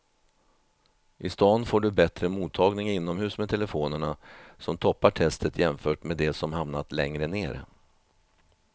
I stan får du bättre mottagning inomhus med telefonerna som toppar testet jämfört med de som hamnat längre ner.